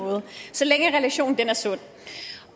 så længe relationen er sund